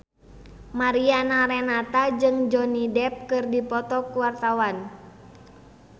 Mariana Renata jeung Johnny Depp keur dipoto ku wartawan